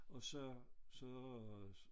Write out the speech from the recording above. Og så så